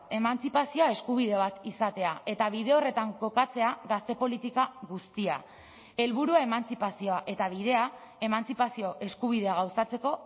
emantzipazioa eskubide bat izatea eta bide horretan kokatzea gazte politika guztia helburua emantzipazioa eta bidea emantzipazio eskubidea gauzatzeko